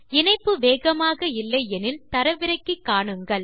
இணைப்பு வேகமாக இல்லை எனில் தரவிறக்கி காணுங்கள்